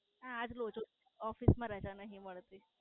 આ જો જો Office માં રજા નહિ મળતી